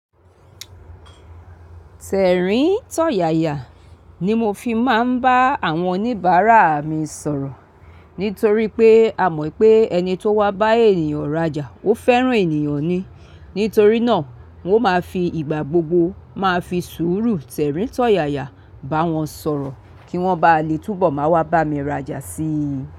Tẹ̀ríntọ̀yàyà ni mo fi máa ń bá àwọn oníbàárà mi sọ̀rọ̀. Nítorí pé a mọ̀ pé ẹni tó wá bá ènìyàn rajà, ó fẹ́ràn ènìyàn ni. Nítorí náà, mo máa fi ìgbà gbogbo máa fi sùúrù tẹ̀ríntọ̀yàyà bá wọn sọ̀rọ̀ kí wọ́n ba lè túbọ̀ máa wá bá mi rajà síi.